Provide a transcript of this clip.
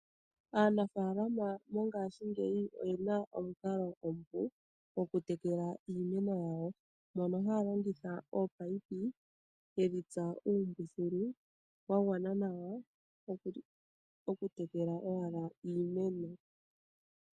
Aanafaalama mongaashingeyi oye na omukalo omupu goku tekela iimeno yawo, mono haya longitha ominino, yedhi tsa uumbuthulu wa gwana nawa oku tekela owala iimeno.